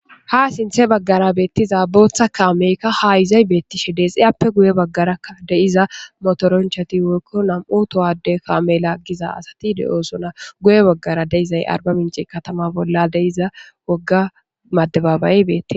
ha sinthe baggara beettiza booththa kaameykka ha izay beettishe deexiyappe guye baggaraa deiza motoronchati woykko nam7u towade kaamela giza asati de7oosuna guye baggara deizay arba minci katama bolla deiza wogga maddebabay beette